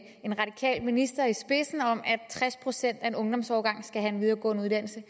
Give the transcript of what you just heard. en radikal minister i spidsen er om at tres procent af en ungdomsårgang skal have en videregående uddannelse